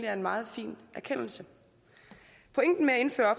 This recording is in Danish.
er en meget fin erkendelse pointen med at indføre